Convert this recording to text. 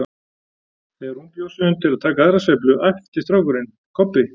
Þegar hún bjó sig undir að taka aðra sveiflu æpti strákurinn: Kobbi